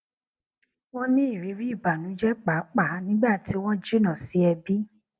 wọn ní ìrírí ìbànújẹ pàápàá nígbà tí wọn jìnnà sí ẹbí